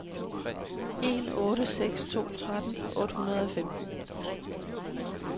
en otte seks to tretten otte hundrede og femten